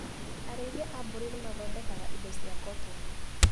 Arĩithia a mbũri nĩmathondekaga indo cia kotoni.